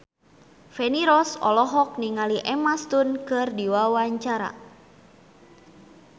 Feni Rose olohok ningali Emma Stone keur diwawancara